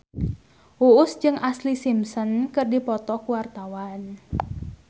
Uus jeung Ashlee Simpson keur dipoto ku wartawan